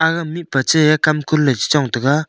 ha mihpa chai kam kun ley chi chong tai ga.